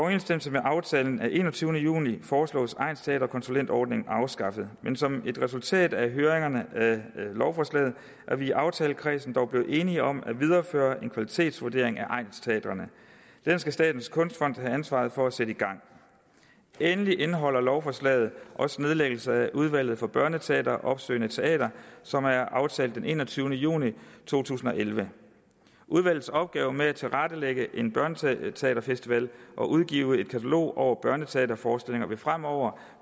med aftalen af enogtyvende juni foreslås egnsteaterkonsulentordningen afskaffet men som et resultat af høringerne af lovforslaget er vi i aftalekredsen dog blevet enige om at videreføre en kvalitetsvurdering af egnsteatrene den skal statens kunstfond have ansvaret for at sætte i gang endelig indeholder lovforslaget også nedlæggelse af udvalget for børneteater og opsøgende teater som er aftalt den enogtyvende juni to tusind og elleve udvalgets opgave med at tilrettelægge en børneteaterfestival og udgive et katalog over børneteaterforestillinger vil fremover